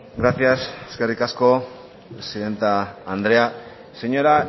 gracias eskerrik asko presidente andrea señora